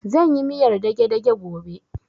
Zan yi miyar dage-dage gobe